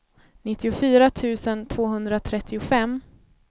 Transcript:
nittiofyra tusen tvåhundratrettiofem